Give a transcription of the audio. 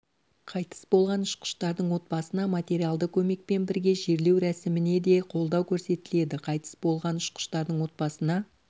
қайтыс болған ұшқыштардың отбасына материалды көмекпен бірге жерлеу рәсіміне де қолдау көрсетіледі қайтыс болған ұшқыштардың отбасына